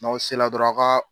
N'aw sela dɔrɔn aw ka.